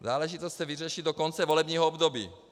Záležitost se vyřeší do konce volebního období.